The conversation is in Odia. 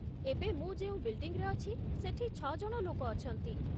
ଏବେ ମୁଁ ଯେଉଁ ବିଲ୍ଡିଂରେ ଅଛି, ସେଠି ଛଅ ଜଣ ଲୋକ ଅଛନ୍ତି ।